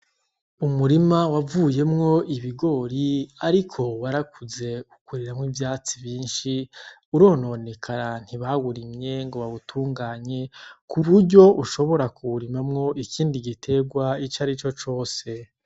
Umurima wavuyemwo ibigori ariko warakuze ukuriramwo ivyatsi vyinshi urononekara, ntibawurimye ngo bawutunganye ku buryo ushobora kuwurimamwo ikindi giterwa icarico cose.